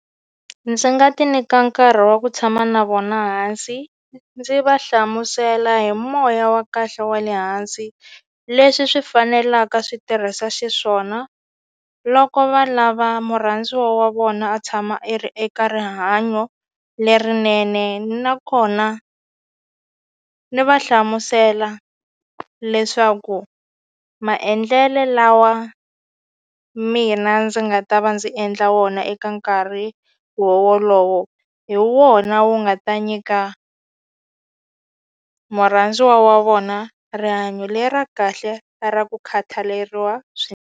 Ndzi nga ti nyika nkarhi wa ku tshama na vona hansi ndzi va hlamusela hi moya wa kahle wa le hansi leswi swi fanelaka swi tirhisa xiswona loko va lava murhandziwa wa vona a tshama i ri eka rihanyo lerinene nakona ni va hlamusela leswaku maendlele lawa mina ndzi nga ta va ndzi endla wona eka nkarhi wo wolowo hi wona wu nga ta nyika murhandziwa wa vona rihanyo le ra kahle ra ra ku khathaleriwa .